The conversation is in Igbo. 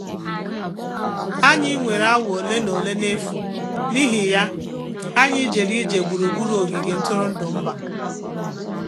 Anyị nwere awa ole na ole n'efu, n'ihi ya, anyị jere ije gburugburu ogige ntụrụndụ mba